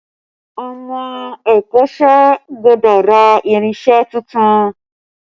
Ọmọ ẹ̀kọ́sẹ́ gbọ́dọ̀ ra irinse tuntun